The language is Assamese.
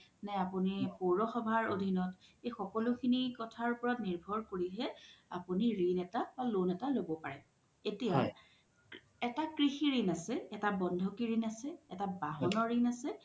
নে আপোনি পৈৰ সভাৰ আধিনত এই সকলো কথাৰ ওপৰত নিৰভৰ কৰিহে আপুনি ৰিন এটা বা loan এটা ল্'ব পাৰে এতিয়া এটা কৃষি ৰিন আছে এটা বন্ধকি ৰিন আছে এটা বাহনৰ ৰিন আছে